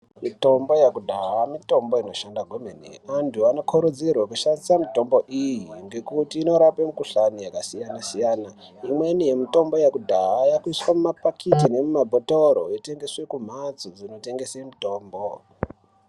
Mitombo yakudhaya mitombo inoshanda kwemene. Antu anokurudzirwa kushandisa mitombo iyi ngekuti inorape mikuhlani yakasiyana-siyana. Imweni yemutombo yekudhaya yaakuiswa mumapakiti nemumabhotoro yotengeswe kumhatso dzinotengese mutombo.